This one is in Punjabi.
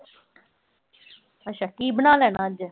ਅੱਛਾ ਕੀ ਬਣਾ ਲੈਣਾ ਅੱਜ।